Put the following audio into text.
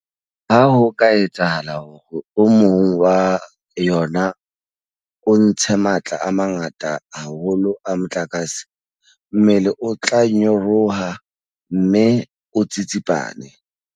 Ha ho ka etsahala hore o mong wa yona o ntshe matla a mangata haholo a motlakase, mmele o tla nyaroha mme o tsitsipane.